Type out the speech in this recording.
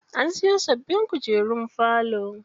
An siyo sababbin kujerun falo.